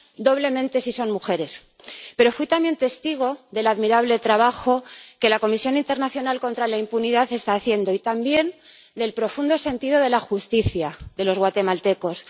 —doblemente si son mujeres—, pero fui también testigo del admirable trabajo que la Comisión Internacional contra la Impunidad está haciendo, y también del profundo sentido de la justicia de los guatemaltecos.